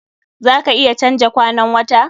Za ka iya canja kwanan wta?